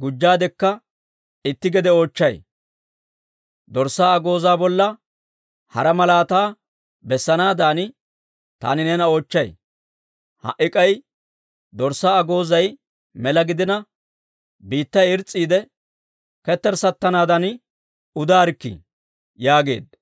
gujjaadekka itti gede oochchay; dorssaa agoozaa bolla hara malaataa bessanaadan taani neena oochchay. Ha"i k'ay dorssaa agoozay mela gidina, biittay irs's'iide ketterssattanaadan udaarikkii» yaageedda.